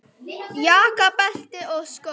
Jakka, belti og skó.